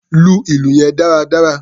Lu ìlù yẹn dáradára!